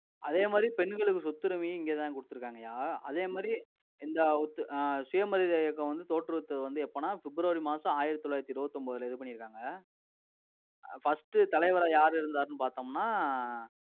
அதே மாதிரி பெண்களுக்கு சொத்துரிமையும் இங்கதான் குடுத்திருக்காங்கயா. அதே மாதிரி இந்த ஒத்~ அஹ் சுயமரியாதை இயக்கம் வந்து, தோற்றுவித்தது வந்து எப்பன்னா, பிப்ரவரி மாசம், ஆயிரத்தி தொள்ளாயிரத்தி இருபத்தி ஒன்பதுல, இது பண்ணிருக்காங்க. அஹ் first தலைவரா யாரு இருந்தாருன்னு பார்த்தோம்ன்னா,